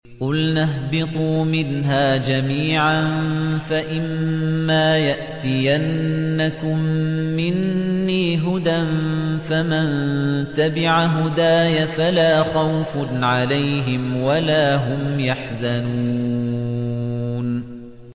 قُلْنَا اهْبِطُوا مِنْهَا جَمِيعًا ۖ فَإِمَّا يَأْتِيَنَّكُم مِّنِّي هُدًى فَمَن تَبِعَ هُدَايَ فَلَا خَوْفٌ عَلَيْهِمْ وَلَا هُمْ يَحْزَنُونَ